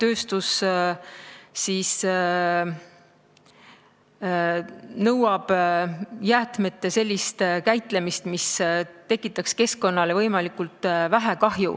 On vaja jäätmete sellist käitlemist, mis tekitaks keskkonnale võimalikult vähe kahju.